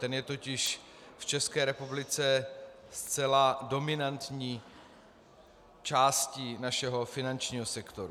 Ten je totiž v České republice zcela dominantní částí našeho finančního sektoru.